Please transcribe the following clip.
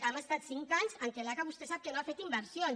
hem estat cinc anys en els quals l’aca vostè ho sap no ha fet inversions